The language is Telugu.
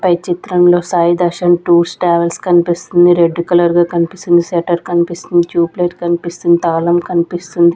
పై చిత్రంలో సాయి దర్శన్ టూర్స్ ట్రావెల్స్ కనిపిస్తుంది. రెడ్ కలర్ గా కనిపిస్తుంది షెటర్ కనిపిస్తుంది ట్యూబ్ లైట్ కనిపిస్తుంది తాళం కనిపిస్తుంది.